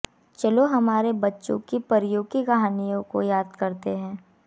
चलो हमारे बच्चों की परियों की कहानियों को याद करते हैं